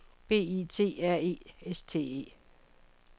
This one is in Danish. B I T R E S T E